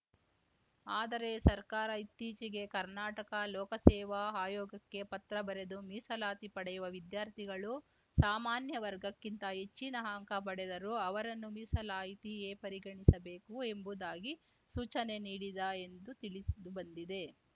ಆದರೆ ಸರ್ಕಾರ ಇತ್ತೀಚೆಗೆ ಕರ್ನಾಟಕ ಲೋಕಸೇವಾ ಆಯೋಗಕ್ಕೆ ಪತ್ರ ಬರೆದು ಮೀಸಲಾತಿ ಪಡೆಯುವ ವಿದ್ಯಾರ್ಥಿಗಳು ಸಾಮಾನ್ಯ ವರ್ಗಕ್ಕಿಂತ ಹೆಚ್ಚಿನ ಅಂಕ ಪಡೆದರು ಅವರನ್ನು ಮೀಸಲಾಯಿತಿಯೇ ಪರಿಗಣಿಸಬೇಕು ಎಂಬುದಾಗಿ ಸೂಚನೆ ನೀಡಿದ ಎಂದು ತಿಳಿಸುಬಂದಿದೆ